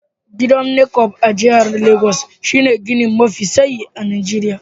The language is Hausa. Gidan Necom a jihar Legas shine gini mafi tsayi a Najeriya.